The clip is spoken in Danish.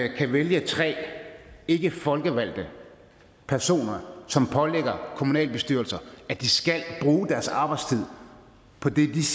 kan vælge tre ikkefolkevalgte personer som pålægger kommunalbestyrelser at de skal bruge deres arbejdstid på det disse